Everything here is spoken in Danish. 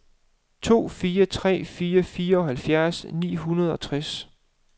to fire tre fire fireoghalvfjerds ni hundrede og tres